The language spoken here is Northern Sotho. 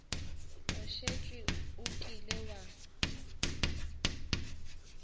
o šetše o kile wa